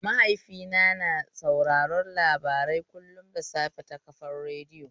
Mahaifina na sauraron labarai kullum da safe ta kafar radiyo.